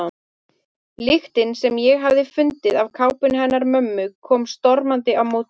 Lyktin sem ég hafði fundið af kápunni hennar mömmu kom stormandi á móti mér.